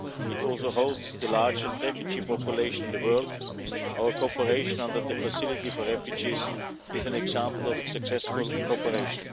It also hosts the largest refugee population in the world, and our cooperation under the Facility for Refugees is an example of successful cooperation.